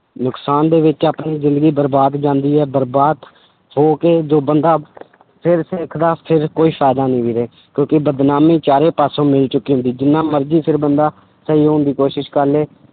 ਨੁਕਸਾਨ ਦੇ ਵਿੱਚ ਆਪਣੀ ਜ਼ਿੰਦਗੀ ਬਰਬਾਦ ਜਾਂਦੀ ਹੈ, ਬਰਬਾਦ ਹੋ ਕੇ ਜੋ ਬੰਦਾ ਫਿਰ ਸਿੱਖਦਾ ਫਿਰ ਕੋਈ ਫ਼ਾਇਦਾ ਨੀ ਵੀਰੇ ਕਿਉਂਕਿ ਬਦਨਾਮੀ ਚਾਰੇ ਪਾਸੋਂ ਮਿਲ ਚੁੱਕੀ ਹੁੰਦੀ, ਜਿੰਨਾ ਮਰਜ਼ੀ ਫਿਰ ਬੰਦਾ, ਸਹੀ ਹੋਣ ਦੀ ਕੋਸ਼ਿਸ਼ ਕਰ ਲਏ